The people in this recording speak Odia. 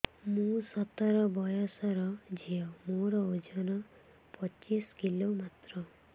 ମୁଁ ସତର ବୟସର ଝିଅ ମୋର ଓଜନ ପଚିଶି କିଲୋ ମାତ୍ର